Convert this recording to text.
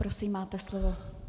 Prosím, máte slovo.